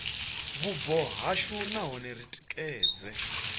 vhubvo hashu nahone ri tikedze